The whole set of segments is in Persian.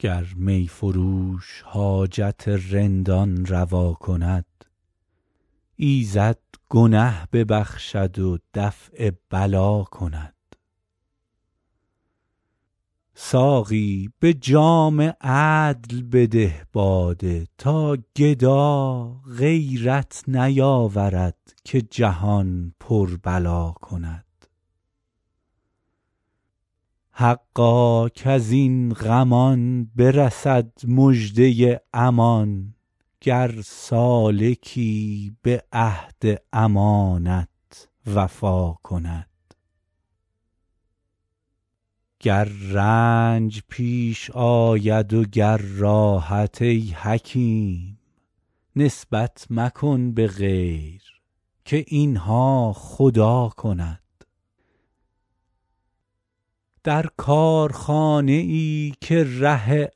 گر می فروش حاجت رندان روا کند ایزد گنه ببخشد و دفع بلا کند ساقی به جام عدل بده باده تا گدا غیرت نیاورد که جهان پر بلا کند حقا کز این غمان برسد مژده امان گر سالکی به عهد امانت وفا کند گر رنج پیش آید و گر راحت ای حکیم نسبت مکن به غیر که این ها خدا کند در کارخانه ای که ره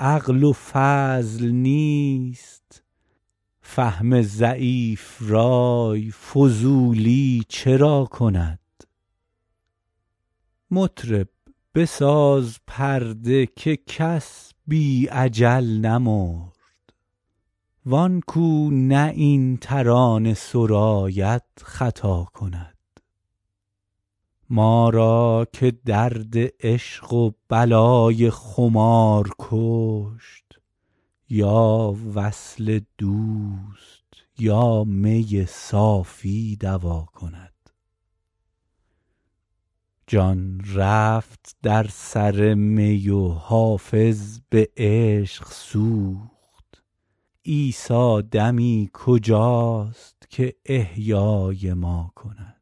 عقل و فضل نیست فهم ضعیف رای فضولی چرا کند مطرب بساز پرده که کس بی اجل نمرد وان کو نه این ترانه سراید خطا کند ما را که درد عشق و بلای خمار کشت یا وصل دوست یا می صافی دوا کند جان رفت در سر می و حافظ به عشق سوخت عیسی دمی کجاست که احیای ما کند